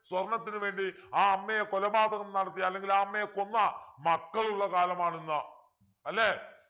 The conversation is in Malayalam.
സ്വർണത്തിനു വേണ്ടി ആ അമ്മയെ കൊലപാതകം നടത്തിയ അല്ലെങ്കിൽ ആ അമ്മയെ കൊന്ന മക്കളുള്ള കാലമാണ് ഇന്ന് അല്ലെ